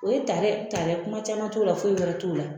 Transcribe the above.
O ye tarɛ tarɛ kuma caman t'o la foyi wɛrɛ t'o la